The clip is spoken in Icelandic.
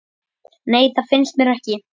nei það finnst mér ekki